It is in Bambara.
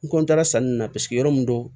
N ra sanni na paseke yɔrɔ min do